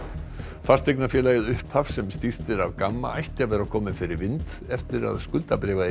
fasteignafélagið upphaf sem stýrt er af Gamma ætti að vera komið fyrir vind eftir að